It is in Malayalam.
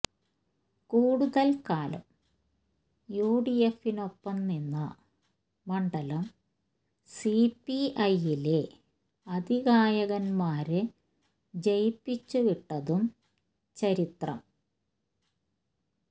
കൂടുതല് കാലം യുഡിഎഫിനൊപ്പം നിന്ന മണ്ഡലം സിപിഐയിലെ അതികായന്മാരെ ജയിപ്പിച്ചു വിട്ടതും ചരിത്രം